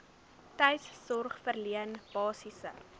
tuissorg verleen basiese